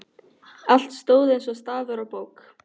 Allt stóð eins og stafur á bók.